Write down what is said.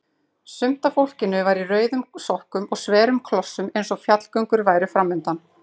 Sumt af fólkinu var í rauðum sokkum og sverum klossum eins og fjallgöngur væru framundan.